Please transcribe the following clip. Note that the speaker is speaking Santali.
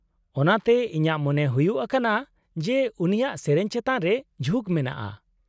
-ᱚᱱᱟᱛᱮ ᱤᱧᱟᱹᱜ ᱢᱚᱱᱮ ᱦᱩᱭᱩᱜ ᱟᱠᱟᱱᱟ ᱡᱮ ᱩᱱᱤᱭᱟᱜ ᱥᱮᱹᱨᱮᱹᱧ ᱪᱮᱛᱟᱱ ᱨᱮ ᱡᱷᱩᱠ ᱢᱮᱱᱟᱜᱼᱟ ᱾